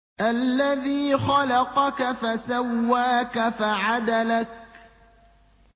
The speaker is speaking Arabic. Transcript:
الَّذِي خَلَقَكَ فَسَوَّاكَ فَعَدَلَكَ